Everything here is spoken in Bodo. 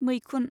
मैखुन